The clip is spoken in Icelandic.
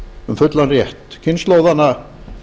um fullan rétt kynslóðanna